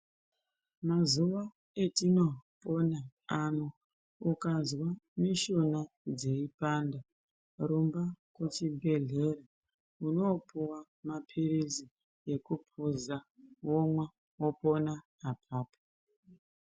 Mazuwa etinoona ano ukazwa mishuna dzeipanda rumba kuchibhedhleya unopuwa mapirizi ekupuza womwa wopona apapo.